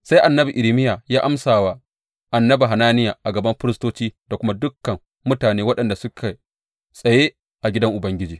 Sai annabi Irmiya ya amsa wa annabi Hananiya a gaban firistoci da kuma dukan mutane waɗanda suke tsaye a gidan Ubangiji.